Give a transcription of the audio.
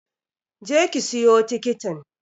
Je ki siyo tikitin!